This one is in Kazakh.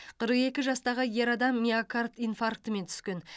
қырық екі жастағы ер адам миокард инфарктімен түскен